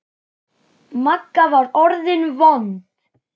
Magga var orðin vond.